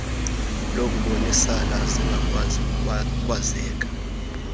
lokubonisana zingakwazi ukwazeka